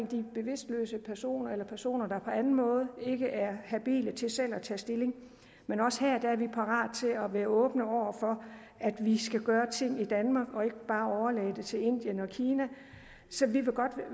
de bevidstløse personer eller personer der på anden måde ikke er habile til selv at tage stilling men også her er vi parate til at være åbne over for at vi skal gøre ting i danmark og ikke bare overlade det til indien og kina så vi